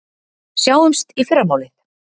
Sjáumst í fyrramálið.